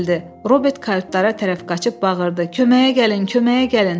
Robert kayutlara tərəf qaçıb bağırdı: Köməyə gəlin, köməyə gəlin!